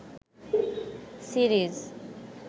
series